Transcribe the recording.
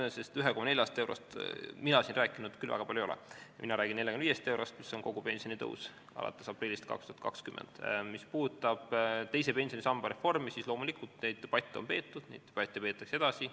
Oleme täpsed: 1,40 eurost mina siin küll väga palju rääkinud ei ole, mina räägin 45 eurost, mis on kogu pensionitõus alates aprillist 2020. Mis puudutab teise pensionisamba reformi, siis loomulikult on neid debatte peetud ja neid peetakse edasi.